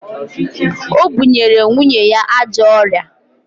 O bunyere nwunye ya ajọ ọrịa